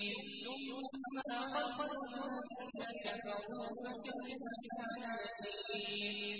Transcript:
ثُمَّ أَخَذْتُ الَّذِينَ كَفَرُوا ۖ فَكَيْفَ كَانَ نَكِيرِ